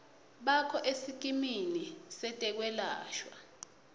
bakho esikimini setekwelashwa